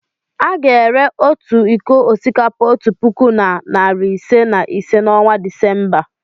A ga-ere otu iko osikapa otu puku na narị ise na ise n'ọnwa Disemba.